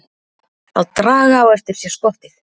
Að draga á eftir sér skottið